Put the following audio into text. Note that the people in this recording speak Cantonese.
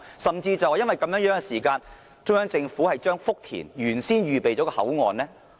甚至基於這原因，中央政府將福田原先預備妥當的口岸剔除？